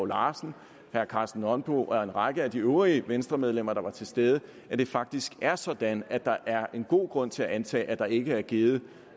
larsen herre karsten nonbo og en række af de øvrige venstremedlemmer der var til stede at det faktisk er sådan at der er en god grund til antage at der ikke er givet